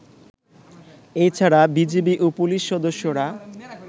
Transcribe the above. এছাড়া বিজিবি ও পুলিশ সদস্যরা